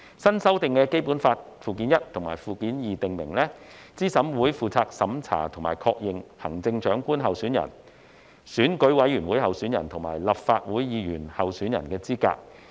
新修訂的《基本法》附件一和附件二訂明，資審會負責審查並確認行政長官候選人、選舉委員會委員候選人和立法會議員候選人的資格。